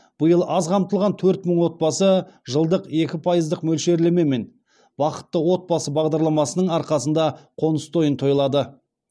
биыл аз қамтылған төрт мың отбасы жылдық екі пайыздық мөлшерлемемен бақытты отбасы бағдарламасының арқасында қоныс тойын тойлады